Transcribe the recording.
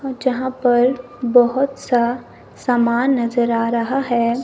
और जहां पर बहुत सा सामान नजर आ रहा है।